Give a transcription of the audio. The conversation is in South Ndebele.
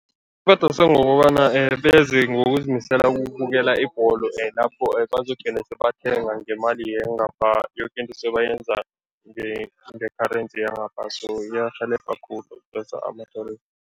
Ibadosa ngokobana beze ngokuzimisela ubukela ibholo lapho bazogcine sebathenga ngemali yangapha, yoke into sele bayenza nge-currency yangapha so iyarhelebha khulu